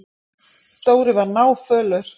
Dóri var náfölur.